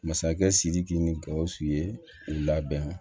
Masakɛ sidiki ni gawusu ye u labɛn